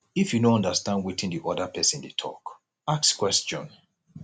if you no understand wetin di oda person dey talk ask question